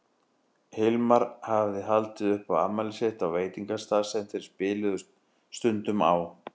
Hilmar hafði haldið upp á afmælið sitt á veitingastað sem þeir spiluðu stundum á.